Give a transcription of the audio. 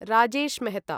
Rajesh Mehta